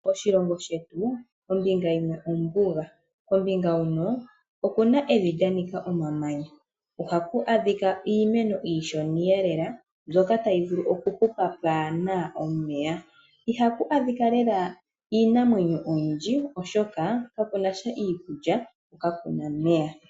Moshilongo shetu kombinga yimwe ombuga okuna evi lya Nika omamanya kombinga huno ohaku adhika iimeno iishona eelela mbyoka tayi vulu okuhupa pwaana omeya ihaku adhika lela iinamwenyo oyindji oshoka kakunasha iikulya kokakuna omeya.